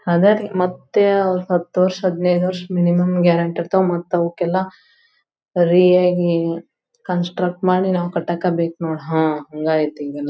ಹಗಾರಿ ಮತ್ಯಾವ ಹತ್ತ್ ವರ್ಷದ್ ಹದಿನೈದ ವರ್ಷ ಮಿನಿಮಂ ಗ್ಯಾರಂಟಿ ಇರತ್ವ್ ಮತ್ತ್ ಅವುಕ್ಕೆಲ್ಲಾ ರಿಯಾಗಿ ಕನ್ಸ್ಟ್ರೆಟ್ ಮಾಡಿ ನಾವ್ ಕಟ್ಟಕ್ಕಬೇಕ್ ನೋಡ್ ಹಮ್ ಹಂಗ್ ಐತಿ ಎಲ್ಲಾ.